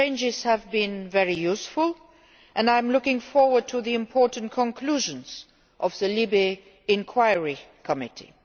exchanges have been very useful, and I am looking forward to the important conclusions of the LIBE inquiry Committee.